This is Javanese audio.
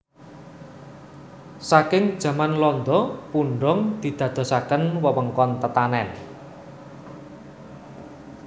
Saking jaman londo Pundong didadosaken wewengkon tetanen